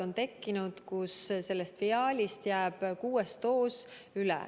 On tekkinud olukorrad, kus viaalis jääb kuues doos üle.